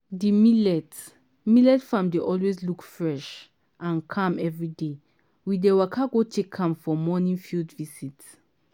di millet millet farm dey always look fresh and calm everyday wey we waka go check am for morning field visit.